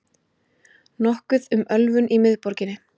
Nokkuð um ölvun í miðborginni